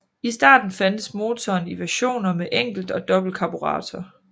I starten fandtes motoren i versioner med enkelt og dobbelt karburator